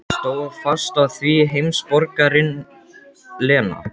Stóð fast á því, heimsborgarinn Lena.